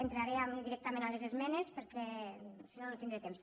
entraré directament a les esmenes per·què si no no tindré temps